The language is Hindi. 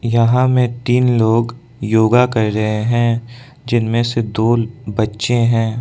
यहां में तीन लोग योगा कर रहे हैं जिनमें से दो बच्चे हैं।